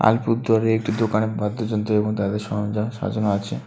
একটি দোকানে বাদ্যযন্ত্র এবং তাদের সরঞ্জাম সাজানো আছে।